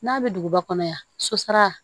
N'a bɛ duguba kɔnɔ yan sosara